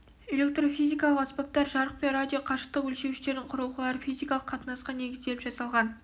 электрофизикалық аспаптар жарық пен радио қашықтық өлшеуіштердің құрылғылары физикалық қатынасқа негізделіп жасалған